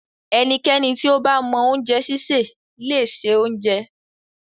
Ẹnikẹ́ni tí ó bá mọ oúnjẹ sísè le se oúnjẹ.